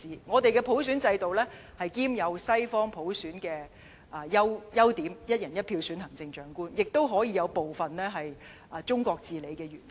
我們的普選制度兼有西方普選的優點，即"一人一票"普選行政長官，也可以有部分中國治理的元素。